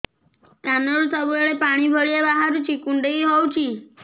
କାନରୁ ସବୁବେଳେ ପାଣି ଭଳିଆ ବାହାରୁଚି କୁଣ୍ଡେଇ ହଉଚି